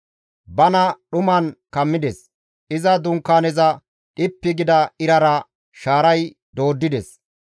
Bana dhuman kammides; iza Dunkaaneza dhippi gida irara shaaray dooddides.